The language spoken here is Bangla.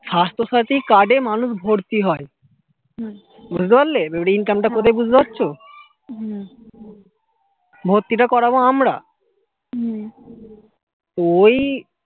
স্বাস্থ্য সাথী card এ মানুষ ভর্তি হয় বুঝতে পারলে এবারে income টা কোথায় বুঝতে পারছো ভর্তি টা করাবো আমরা ওই